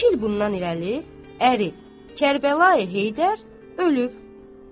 İki il bundan irəli əri Kərbəlayi Heydər ölüb.